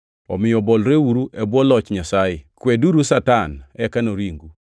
Omiyo bolreuru e bwo Loch Nyasaye. Kweduru Satan, eka noringu.